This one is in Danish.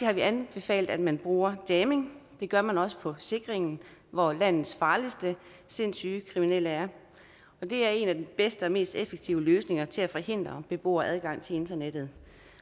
har vi anbefalet at man bruger jamming det gør man også på sikringen hvor landets farligste sindssyge kriminelle er og det er en af de bedste og mest effektive løsninger til at forhindre beboere adgang til internettet